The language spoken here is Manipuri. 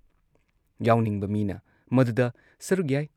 ꯌꯥꯥꯎꯅꯤꯡꯕ ꯃꯤꯅ ꯃꯗꯨꯗ ꯁꯔꯨꯛ ꯌꯥꯏ ꯫